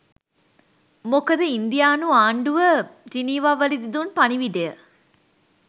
මොකද ඉන්දියානු ආණ්ඩුව ජිනීවාවලදී දුන් පණිවිඩය